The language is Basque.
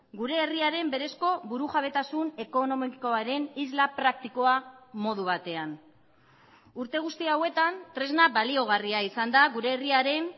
gure herriaren berezko burujabetasun ekonomikoaren isla praktikoa modu batean urte guzti hauetan tresna baliagarria izan da gure herriaren